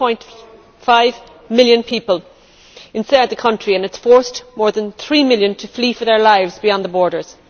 6.5 million people inside the country and it has forced more than three million to flee for their lives beyond the borders.